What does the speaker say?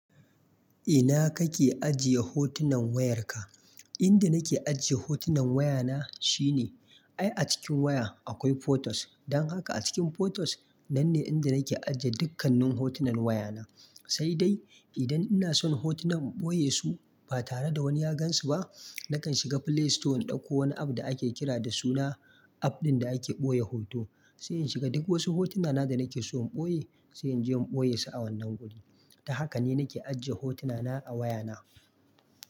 Ina kake ajiye hotunan wayarka? Inda nake ajiye hotunan wayana shine, ai a cikin waya akwai photos. Don haka a cikin photos nan ne inda nake ajiye dukkannin hotunan wayana. Sai dai idan ina son hotunan in boye su ba tare da wani ya gan su ba, nakan shiga Play Store in dauko wani app da ake kira da suna app ɗin da ake boye hoto. Sai in shiga duk wasu hotunana da nake so in boye, sai in je in boye su a wannan guri. Don haka ne nake ajiye hotunana a wayana.